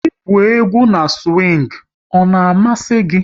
Ị gwụ egwú na siwing, ọ na-amasị gị?